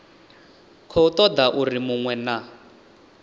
khou toda uri munwe na